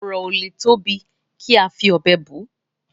ọrọ ọ lè tóbi ká fí òbé bù